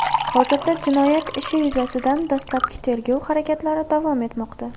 Hozirda jinoyat ishi yuzasidan dastlabki tergov harakatlari davom etmoqda.